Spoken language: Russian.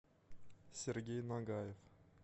сергей нагаев